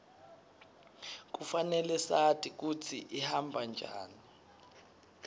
kufanele sati kutsi ihamba njani